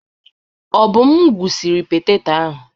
Obum gwụsiri petetọ ahụ.